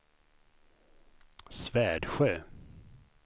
Svärdsjö